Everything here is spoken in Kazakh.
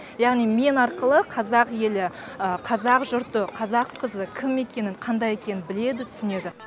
яғни мен арқылы қазақ елі қазақ жұрты қазақ қызы кім екенін қандай екенін біледі түсінеді